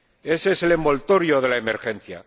Ese es el envoltorio de la emergencia.